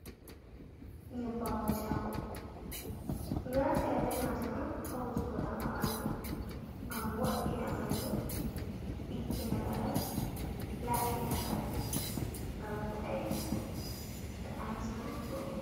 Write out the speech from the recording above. Nyebbam wujuugo ɗo nafira be majam on ha wujuugo ɗam ha ɓandu gam wo'ina ɓandu ɗiggina laral, laaɓɓina ngal, gal vooɗa, takanasma rewɓe.